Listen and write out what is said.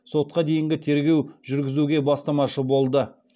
сотқа дейінгі тергеу жүргізуге бастамашы болды